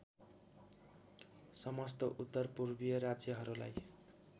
समस्त उत्तरपूर्वीय राज्यहरूलाई